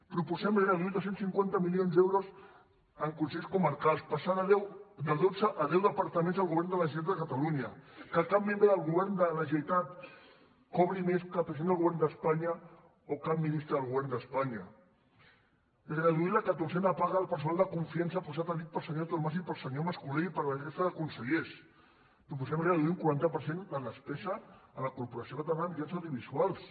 proposem reduir dos cents i cinquanta milions d’euros en consells comarcals passar de dotze a deu departaments del govern de la generalitat de catalunya que cap membre del govern de la generalitat cobri més que el president del govern d’espanya o cap ministre del govern d’espanya reduir la catorzena paga al personal de confiança posat a dit pel senyor artur mas i pel senyor mas colell i per la resta de consellers proposem reduir un quaranta per cent la despesa a la corporació catalana de mitjans audiovisuals